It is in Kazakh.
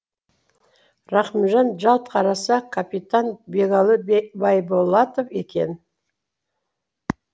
рахымжан жалт қараса капитан бегалы байболатов екен